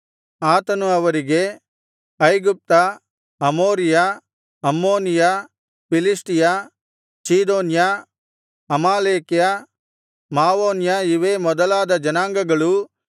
ಆತನು ಅವರಿಗೆ ಐಗುಪ್ತ ಅಮೋರಿಯ ಅಮ್ಮೋನಿಯ ಫಿಲಿಷ್ಟಿಯ ಚೀದೋನ್ಯ ಅಮಾಲೇಕ್ಯ ಮಾವೋನ್ಯ ಇವೇ